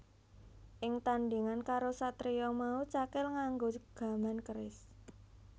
Ing tandhingan karo satriya mau Cakil nganggo gaman keris